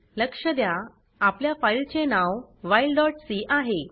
लक्ष द्या आपल्या फाइल चे नाव whileसी आहे